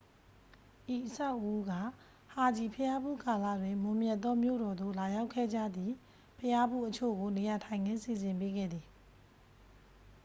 ဤအဆောက်အဦးက ဟာဂျီဘုရားဖူးကာလတွင် မွန်မြတ်သောမြို့တော်သို့ လာရောက်ခဲ့ကြသည့် ဘုရားဖူးအချို့ကို နေရာထိုင်ခင်း စီစဉ်ပေးခဲ့သည်